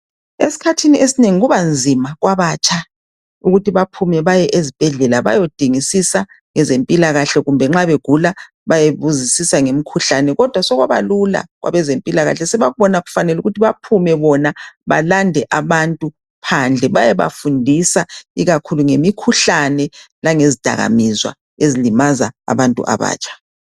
Eskhathini esinengi kubanzima kwabatsha ukuthi baphume bayezibhedlela bayodingisisa esempilakahle kumbe nxa begula bayebuzisisa ngemkhuhlane kodwa sokwabalula kwabezempilakahle sebakubona kufanele ukuthi baphume bona balande abantu phandle bayebafundisa ikakhuhlu ngemikhuhlane langezdakamizwa ezilimaza abantu abatsha.